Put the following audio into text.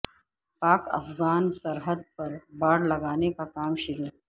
پاک افغان سرحد پر باڑ لگانے کا کام شروع